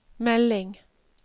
melding